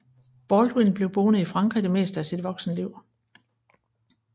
Baldwin blev boende i Frankrig det meste af sit voksenliv